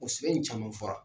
O in caman fɔra.